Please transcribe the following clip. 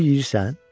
Kürük yeyirsən?